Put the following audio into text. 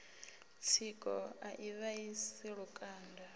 tsiko a i vhaisi lukanda